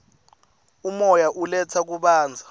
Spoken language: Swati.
umoya uletsa kubanza